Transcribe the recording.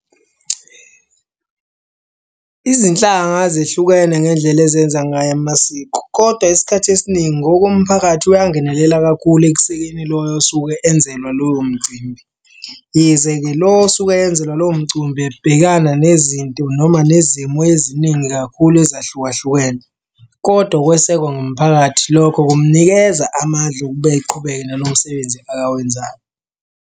Izinhlanga zihlukene ngendlela ezenza ngayo amasiko, kodwa isikhathi esiningi ngokomphakathi uyangenelela kakhulu ekusekeni loyo osuke enzelwa loyo mcimbi. Yize-ke lo osuke eyenzelwa loyo mcimbi ebhekana nezinto noma nezimo eziningi kakhulu ezahlukahlukene kodwa ukwesekwa ngumphakathi lokho kumunikeza amandla okuba eqhubeke nalowo msebenzi akawenzayo.